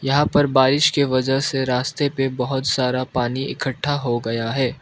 यहां पर बारिश के वजह से रास्ते पे बहुत सारा पानी इकट्ठा हो गया है।